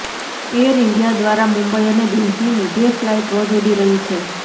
air India દ્વારા મુંબઈ અને દિલ્હીની બે ફલાઇટ રોજ ઉડી રહી છે